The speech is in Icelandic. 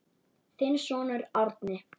Þinn sonur Árni.